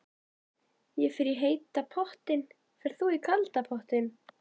Ég fer í heita pottinn. Ferð þú í kalda pottinn?